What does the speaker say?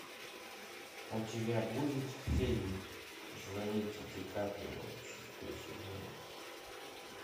у тебя будет фильм звоните дикаприо шестой сезон